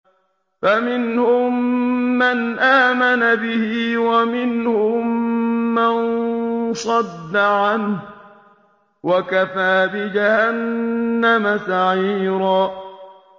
فَمِنْهُم مَّنْ آمَنَ بِهِ وَمِنْهُم مَّن صَدَّ عَنْهُ ۚ وَكَفَىٰ بِجَهَنَّمَ سَعِيرًا